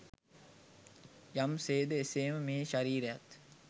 යම් සේද එසේම මේ ශරීරයත්